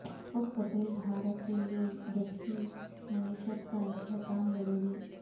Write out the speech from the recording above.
خود کفیل بھارت کے لیے دیہی معیشت کا استحکام ضروری